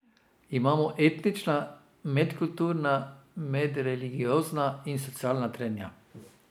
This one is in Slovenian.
Imamo etnična, medkulturna, medreligiozna in socialna trenja.